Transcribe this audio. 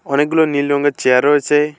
অনেকগুলো নীল রঙের চেয়ার রয়েছে।